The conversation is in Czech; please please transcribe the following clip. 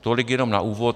Tolik jenom na úvod.